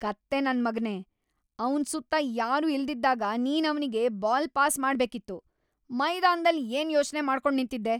ಕತ್ತೆ ನನ್ಮಗ್ನೇ.. ಅವ್ನ್‌ ಸುತ್ತ ಯಾರೂ ಇಲ್ದಿದ್ದಾಗ ನೀನ್ ಅವ್ನಿಗೆ ಬಾಲ್‌ ಪಾಸ್‌ ಮಾಡ್ಬೇಕಿತ್ತು. ಮೈದಾನ್ದಲ್ಲಿ ಏನ್‌ ಯೋಚ್ನೆ ಮಾಡ್ಕೊಂಡ್‌ ನಿಂತಿದ್ದೆ?